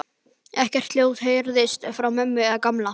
Ekkert hljóð heyrðist frá ömmu eða Gamla.